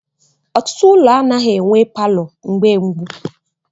Ọtụtụ ụlọ anaghị enwe palọ mgbe gboo.